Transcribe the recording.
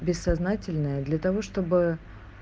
бессознательное для того чтобы